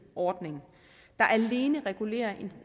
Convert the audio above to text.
ordning der alene regulerer